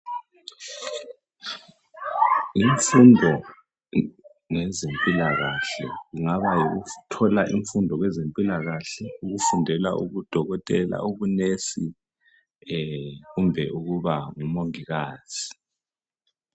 Imfundo ngezempilakahle kungaba yikuthola imfundo wezempilakahle ukufundela ubudokotela ubu"Nurse" kumbe ukuba ngumongikazi.